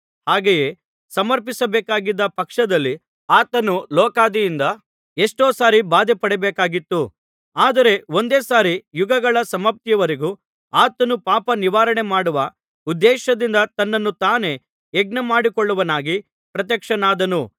ಹಾಗೆ ಸಮರ್ಪಿಸಬೇಕಾಗಿದ್ದ ಪಕ್ಷದಲ್ಲಿ ಆತನು ಲೋಕಾದಿಯಿಂದ ಎಷ್ಟೋ ಸಾರಿ ಬಾಧೆಪಡಬೇಕಾಗಿತ್ತು ಆದರೆ ಒಂದೇ ಸಾರಿ ಯುಗಗಳ ಸಮಾಪ್ತಿಯವರೆಗೂ ಆತನು ಪಾಪ ನಿವಾರಣೆ ಮಾಡುವ ಉದ್ದೇಶದಿಂದ ತನ್ನನ್ನು ತಾನೇ ಯಜ್ಞಮಾಡಿಕೊಳ್ಳುವವನಾಗಿ ಪ್ರತ್ಯಕ್ಷನಾದನು